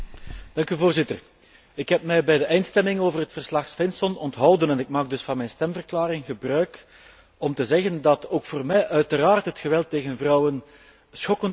Ik heb mij bij de eindstemming over het verslag Svensson onthouden en ik maak dus van mijn stemverklaring gebruik om te zeggen dat ook voor mij uiteraard het geweld tegen vrouwen schokkend en onaanvaardbaar is.